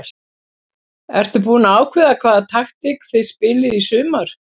Ertu búin að ákveða hvaða taktík þið spilið í sumar?